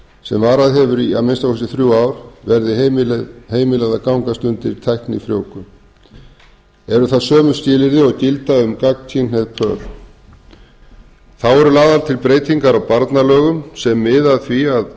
sem varað hefur í að minnsta kosti þrjú ár verði heimilað að gangast undir tæknifrjóvgun eru það sömu skilyrði og gilda um gagnkynhneigð börn þá eru lagðar til breytingar á barnalögum sem miða að því að